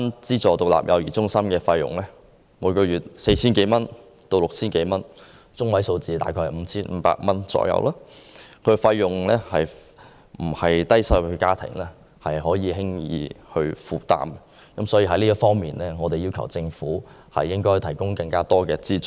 資助獨立幼兒中心每月的收費由 4,000 至 6,000 多元不等，中位數約為 5,500 元，並非低收入家庭可負擔得來，所以我們要求政府向低收入家庭提供更多有關資助。